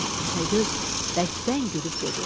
Təpəgöz bərkdən gülüb dedi: